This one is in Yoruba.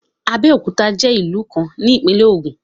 Abeokuta je ilu kan ni Ipinle Ogun